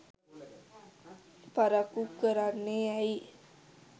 පරක්කු කරන්නේ ඇයි